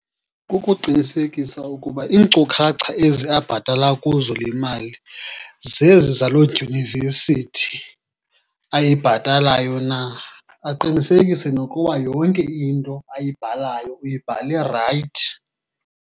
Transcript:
Kukuqinisekisa ukuba iinkcukacha ezi abhatala kuzo le mali zezi zaloo dyunivesithi ayibhatalayo na. Aqinisekise nokuba yonke into ayibhalayo uyibhale rayithi.